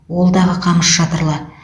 ол дағы қамыс шатырлы